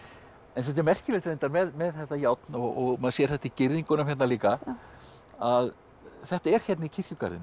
svolítið merkilegt með þetta járn og maður sér þetta í girðingunum hérna líka að þetta er hérna í kirkjugarðinum